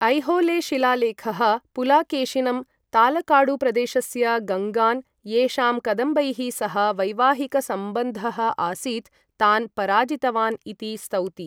ऐहोले शिलालेखः पुलाकेशिनं तालकाडुप्रदेशस्य गङ्गान्, येषां कदम्बैः सह वैवाहिकसम्बन्धः आसीत्, तान् पराजितवान् इति स्तौति।